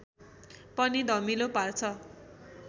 पनि धमिलो पार्छ